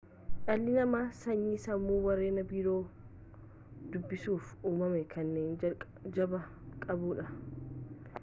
dhalli namaa sanyii sammuu warreen biroo dubbisuuf uumaman kennaa jabaa qabudha